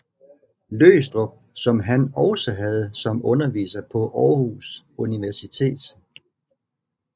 Løgstrup som han også havde som underviser på Aarhus Universitet